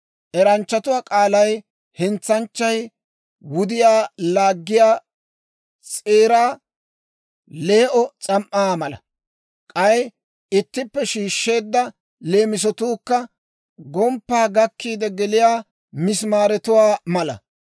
Eranchchatuwaa k'aalay hentsanchchay wudiyaa laaggiyaa s'eeraa lee"o S'am"aa mala. K'ay ittippe shiishsheedda leemisotuukka gomppaa gakkiide geliyaa misimaaretuwaa mala.